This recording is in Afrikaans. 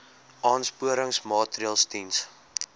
aansporingsmaatre ls diens